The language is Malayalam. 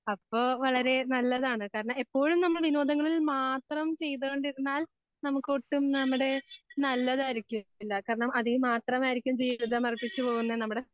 അപ്പോ വളരെ നല്ലതാണ് കാരണം എപ്പോഴും നമ്മൾ വിനോദങ്ങളിൽ മാത്രം ചെയ്തുകൊണ്ടിരുന്നാൽ നമുക്കൊട്ടും നമ്മുടെ നല്ലതായിരിക്കില്ല കാരണം അതിൽ മാത്രമായിരിക്കും ജീവിതം അർപ്പിച്ചു പോകുന്നെ നമ്മുടെ